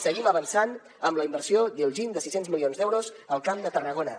seguim avançant amb la inversió d’iljin de sis cents milions d’euros al camp de tarragona